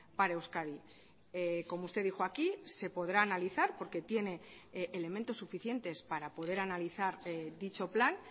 para euskadi como usted dijo aquí se podrá analizar porque tiene elementos suficientes para poder analizar dicho plan